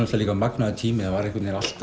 líka magnaður tími það var allt